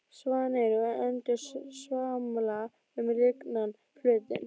Svanir og endur svamla um lygnan flötinn.